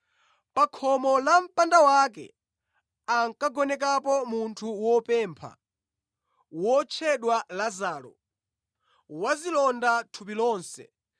Pa khomo la mpanda wake ankagonekapo munthu wopempha wotchedwa Lazaro, wazilonda thupi lonse